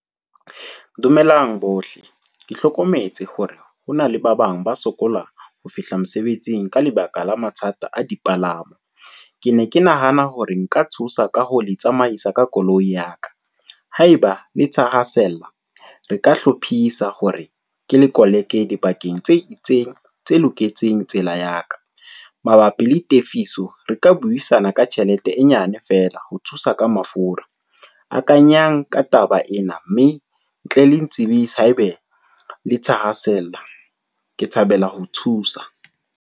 Dumelang bohle, ke hlokometse hore hona le ba bang ba sokola ho fihla mosebetsing ka lebaka la mathata a dipalamo. Ke ne ke nahana hore nka thusa ka ho le tsamaisa ka koloi ya ka, haeba le thahasella, re ka hlophisa hore ke le koleke dibakeng tse itseng tse loketseng tsela ya ka. Mabapi le tefiso re ka buisana ka tjhelete e nyane fela ho thusa ka mafura, akanyang ka taba ena mme tle le ntsibise haebe le thahasella. Ke thabela ho thusa.